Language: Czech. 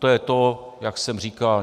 To je to, jak jsem říkal.